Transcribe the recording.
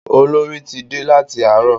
Olorì ti dé láti àárọ̀.